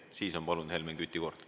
Siis on, palun, Helmen Küti kord.